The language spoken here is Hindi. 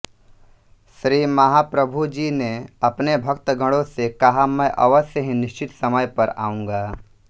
श्री महाप्रभुजी ने अपने भक्त गणों से कहा मैं अवश्य ही निश्चित समय पर आऊंगा